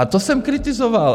A to jsem kritizoval.